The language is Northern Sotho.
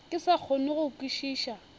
ke sa kgone go kwešiša